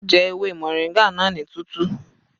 Jẹ ewé moringa náà ní tútù.